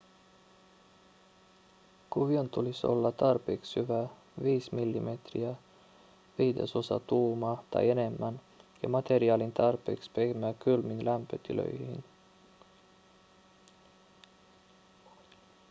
kuvion tulisi olla tarpeeksi syvä 5 mm 1/5 tuumaa tai enemmän ja materiaalin tarpeeksi pehmeä kylmiin lämpötiloihin